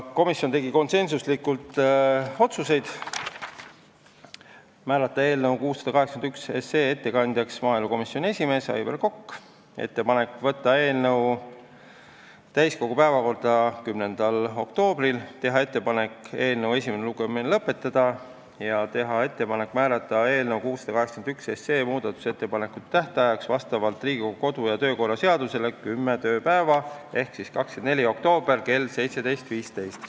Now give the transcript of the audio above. Komisjon tegi konsensuslikud otsused määrata eelnõu 681 ettekandjaks maaelukomisjoni esimees Aivar Kokk, teha ettepanek võtta eelnõu täiskogu päevakorda 10. oktoobril, teha ettepanek eelnõu esimene lugemine lõpetada ja teha ettepanek määrata eelnõu 681 muudatusettepanekute esitamise tähtajaks vastavalt Riigikogu kodu- ja töökorra seadusele kümme tööpäeva ehk 24. oktoober kell 17.15.